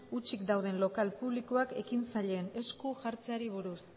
hutsik dauden lokal publikoak ekintzaileen esku jartzeari buruz